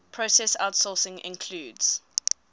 process outsourcing includes